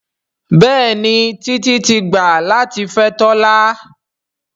Béèni Titi tí gbà latí fè Tola.